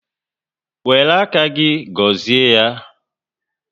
Wéré áká gị gọzie ya